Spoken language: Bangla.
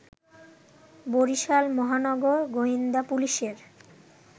বরিশাল মহানগর গোয়েন্দা পুলিশের